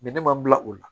ne ma n bila o la